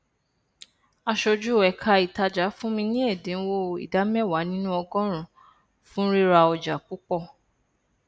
aṣojú ẹka ìtajà fún mi ní ẹdínwó ìdá mẹwàá nínú ọgọrùnún fún rira ọjà púpọ